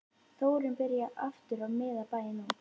Þórunn byrjar aftur að miða bæinn út